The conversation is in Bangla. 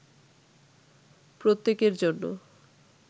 প্রত্যেকের জন্য